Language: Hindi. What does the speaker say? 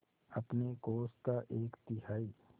अपने कोष का एक तिहाई